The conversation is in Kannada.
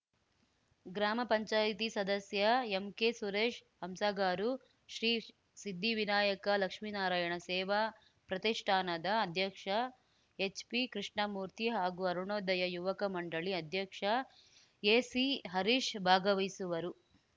ಗ್ರಾಮ ಪಂಚಾಯ್ತಿ ಸದಸ್ಯ ಎಂಕೆ ಸುರೇಶ್‌ ಹಂಸಗಾರು ಶ್ರೀ ಸಿದ್ಧಿವಿನಾಯಕ ಲಕ್ಷ್ಮೀನಾರಾಯಣ ಸೇವಾ ಪ್ರತಿಷ್ಠಾನದ ಅಧ್ಯಕ್ಷ ಎಚ್‌ಪಿ ಕೃಷ್ಣಮೂರ್ತಿ ಹಾಗೂ ಅರುಣೋದಯ ಯುವಕ ಮಂಡಳಿ ಅಧ್ಯಕ್ಷ ಎಸಿ ಹರೀಶ್‌ ಭಾಗವಹಿಸುವರು